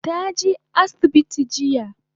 Ta je asibiti jiya